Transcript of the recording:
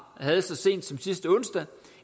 havde så sent som sidste onsdag